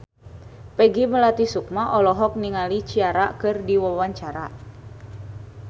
Peggy Melati Sukma olohok ningali Ciara keur diwawancara